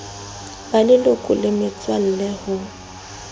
ba leloko le metswalle ho